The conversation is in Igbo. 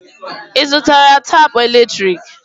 Ị zụtara tapụ eletrik?